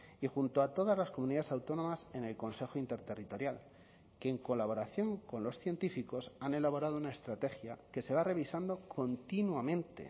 y junto a todas las comunidades autónomas en el consejo interterritorial que en colaboración con los científicos han elaborado una estrategia que se va revisando continuamente